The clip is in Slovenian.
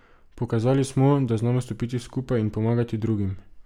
Pokazali smo, da znamo stopiti skupaj in pomagati drugim.